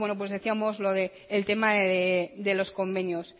decíamos lo del tema de los convenios